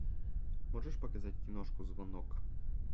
можешь показать киношку звонок